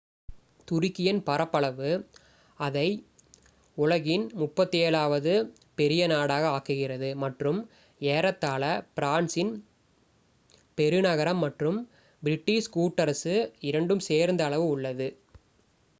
துருக்கியின் பரப்பளவு அதை உலகின் 37 வது பெரிய நாடாக ஆக்குகிறது மற்றும் ஏறத்தாழ பிரான்சின் பெருநகரம் மற்றும் பிரிட்டிஷ் கூட்டரசு இரண்டும் சேர்ந்த அளவு உள்ளது